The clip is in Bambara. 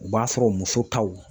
U b'a sɔrɔ muso taw